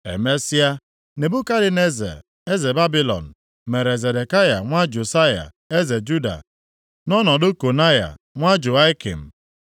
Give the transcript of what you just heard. Emesịa, Nebukadneza eze Babilọn mere Zedekaya nwa Josaya eze Juda, nʼọnọdụ Konaya + 37:1 Bụkwa Jehoiakin nwa Jehoiakim.